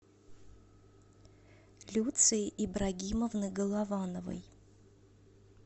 люции ибрагимовны головановой